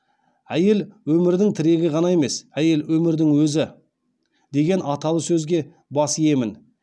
әйел өмірдің тірегі ғана емес әйел өмірдің өзі деген аталы сөзге бас иемін